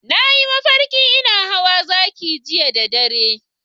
Na yi mafarki ina hawa zaki jiya da dare.